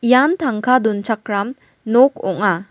ian tangka donchakram nok ong·a.